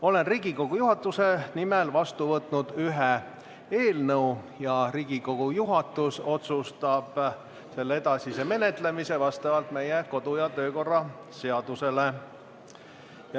Olen Riigikogu juhatuse nimel vastu võtnud ühe eelnõu ning Riigikogu juhatus otsustab selle edasise menetlemise vastavalt meie kodu- ja töökorra seadusele.